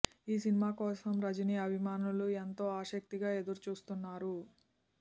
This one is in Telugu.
ఈ సినిమా కోసం రజని అభిమానులు ఎంతో ఆసక్తిగా ఎదురుచూస్తున్నారు